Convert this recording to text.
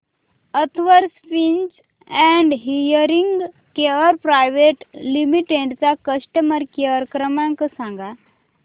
Atharva speech and hearing care private limited चा customer care क्रमांक सांगा